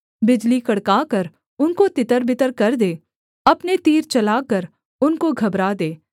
बिजली कड़काकर उनको तितरबितर कर दे अपने तीर चलाकर उनको घबरा दे